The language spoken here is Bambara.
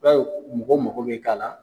B'aw mɔgɔ mako bɛ k'a la.